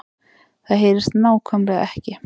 Það HEYRIST NÁKVÆMLEGA EKKI